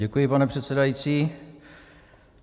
Děkuji, pane předsedající.